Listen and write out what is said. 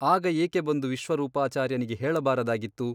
ಆಗ ಏಕೆ ಬಂದು ವಿಶ್ವರೂಪಾಚಾರ್ಯನಿಗೆ ಹೇಳಬಾರದಾಗಿತ್ತು ?